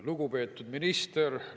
Lugupeetud minister!